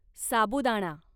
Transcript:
साबुदाणा